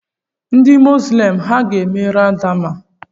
Ndị mosilem ha ga-eme ramadan?